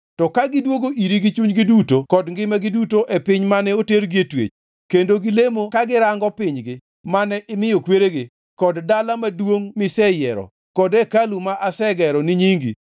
to ka gidwogo iri gi chunygi duto kod ngimagi duto e piny mane otergi e twech, kendo gilemo ka girango pinygi mane imiyo kweregi, kod dala maduongʼ miseyiero kod hekalu ma asegero ni nyingi,